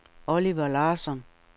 Oliver Larsson